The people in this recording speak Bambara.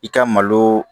I ka malo